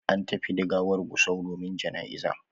An tafi da gawar gusau domin janaiza